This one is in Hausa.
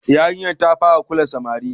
Yarinyar ta fara kula samari.